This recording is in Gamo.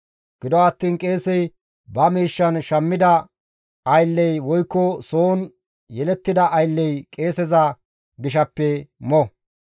Gido attiin qeesey ba miishshan shammida aylley woykko soon yelettida aylley qeeseza gishaappe mo.